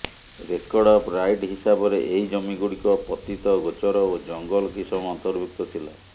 record of right ହିସାବରେ ଏହି ଜମିଗୁଡିକ ପତିତ ଗୋଚର ଓ ଜଙ୍ଗଲ କିସମ ଅନ୍ତର୍ଭୁକ୍ତ ଥିଲା